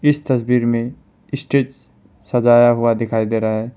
इस तस्वीर में स्टेज सजाया हुआ दिखाई दे रहा है।